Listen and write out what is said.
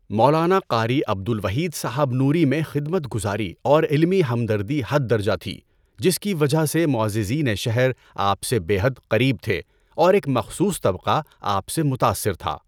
مولانا قاری عبد الوحید صاحب نوریؔ میں خدمت گزاری اور علمی ہمدردی حد درجہ تھی جس کی وجہ سے معززینِ شہر آپ سے بے حد قریب تھے اور ایک مخصوص طبقہ آپ سے متاثر تھا۔